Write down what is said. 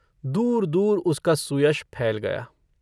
दूर-दूर उसका सुयश फैल गया।